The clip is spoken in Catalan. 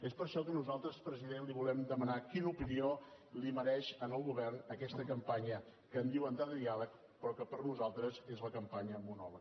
és per això que nosaltres president li volem demanar quina opinió li mereix al govern aquesta campanya que en diuen de diàleg però que per nosaltres és la campanya monòleg